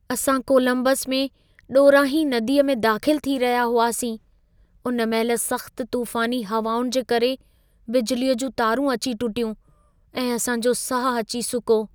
असां कोलंबस में ॾोरांहीं नदीअ में दाख़िल थी रहिया हुआसीं, उन महिल सख़्त तूफ़ानी हवाउनि जे करे बिजलीअ जूं तारूं अची टुटियूं ऐं असां जो साह अची सुको।